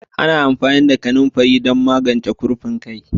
Ana amfani da kanunfari don magance kurfin kai.